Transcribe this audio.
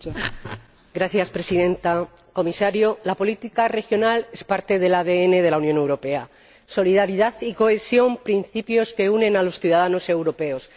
Señora Presidenta, señor Comisario, la política regional es parte del ADN de la Unión Europea solidaridad y cohesión, principios que unen a los ciudadanos europeos.